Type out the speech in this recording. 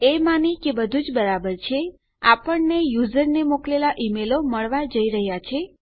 એ માની કે બધું જ બરાબર છે આપણને યુઝરને મોકલેલા ઈમેલો મળવા જઈ રહ્યા છે